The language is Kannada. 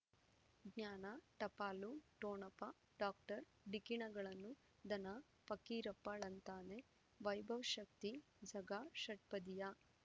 ಜ್ಞಾನ ಟಪಾಲು ಠೊಣಪ ಡಾಕ್ಟರ್ ಢಿಕ್ಕಿ ಣಗಳನು ಧನ ಪಕೀರಪ್ಪ ಳಂತಾನೆ ವೈಭವ್ ಶಕ್ತಿ ಝಗಾ ಷಟ್ಪದಿಯ